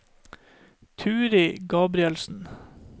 Turid Gabrielsen